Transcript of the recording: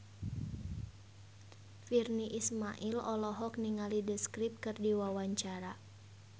Virnie Ismail olohok ningali The Script keur diwawancara